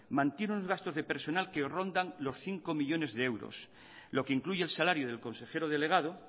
mantienen unos gastos de personal que rondan los cinco millónes de euros lo que incluye el salario del consejero delegado